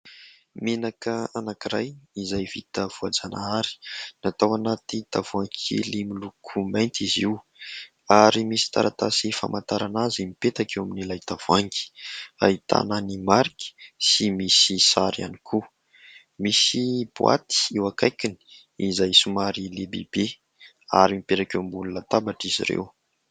Menaka anankiray izay vita voajanahary, natao anaty tavoahangy kely miloko mainty izy io. Ary misy taratasy famantarana azy mipetraka eo amin'ilay tavoahangy, ahitana ny marika sy misy sary ihany koa. Misy boaty eo akaikiny, izay somary lehibebe ary mipetraka eo ambony latabatra izy ireo.